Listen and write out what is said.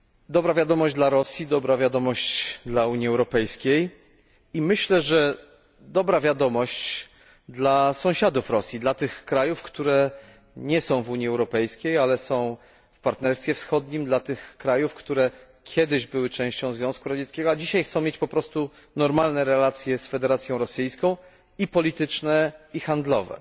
Dobra wiadomość dla Rosji, dobra wiadomość dla Unii Europejskiej i myślę, że dobra wiadomość dla sąsiadów Rosji, dla tych krajów, które nie są w Unii Europejskiej, ale są w Partnerstwie Wschodnim, dla tych krajów, które kiedyś były częścią Związku Radzieckiego, a dzisiaj chcą mieć po prostu normalne relacje z Federacją Rosyjską tak polityczne, jak i handlowe.